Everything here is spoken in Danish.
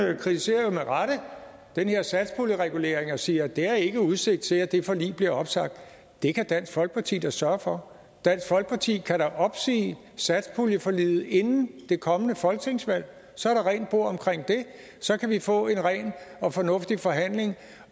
han kritiserer jo med rette den her satspuljeregulering og siger at der ikke er udsigt til at det forlig bliver opsagt det kan dansk folkeparti da sørge for dansk folkeparti kan da opsige satspuljeforliget inden det kommende folketingsvalg så er der rent bord omkring det så kan vi få en ren og fornuftig forhandling